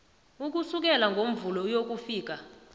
ukusukela ngomvulo ukuyokufika